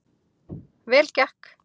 Vel gekk